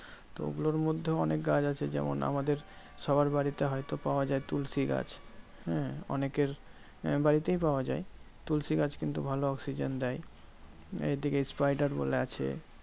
তো ওগুলোর মধ্যেও অনেক গাছ আছে, যেমন আমাদের সবার বাড়িতে হয়তো পাওয়া যায় তুলসী গাছ। হ্যাঁ অনেকের বাড়িতেই পাওয়া যায়। তুলসী গাছ কিন্তু ভালো oxygen দেয়। এইদিকে spider বলে আছে,